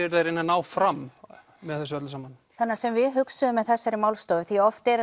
eruð að reyna að ná fram með þessu öllu saman það sem við hugsuðum með þessari málstofu því oft eru